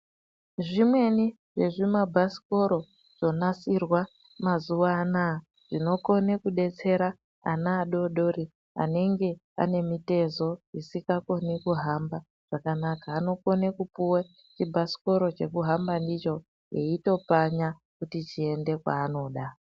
Zvimweni zvezvimabhasikoro zvonasirwa mazuva anaa zvinokone kudetsera ana adoodori anenge anemitezo isikakoni kuhamba zvakanaka. Anokone kupuwe chibhasikoro chekuhamba ndicho, eitopfanya kuti chiende kwaanoda.